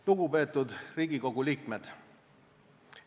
Lugupeetud Riigikogu liikmed!